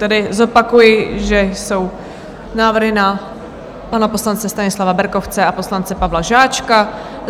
Tedy zopakuji, že jsou návrhy na pana poslance Stanislava Berkovce a poslance Pavla Žáčka.